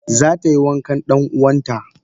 Zatayi wankan dan uwanta.